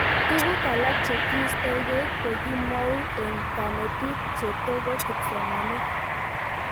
Tuguk alak che kiistaekei ko kimwau eng' kanetik che toko kipsomanik